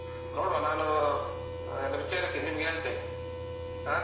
ಹ್ಮ್ ನೋಡುವ ನಾನು ಎಲ್ಲ ವಿಚಾರಿಸಿ ನಿಮ್ಗೆ ಹೇಳ್ತೇನೆ ಹಾ.